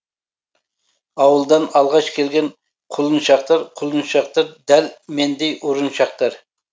ауылдан алғаш келген құлыншақтар құлыншақтар дәл мендей ұрыншақтар